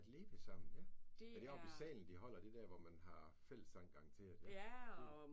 At leve sammen ja. Er det oppe i salen de holder det der hvor man har fællessang det er det garanteret